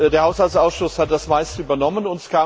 Der Haushaltsausschuss hat das meiste übernommen.